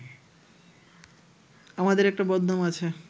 আমাদের একটা বদনাম আছে